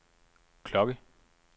klokke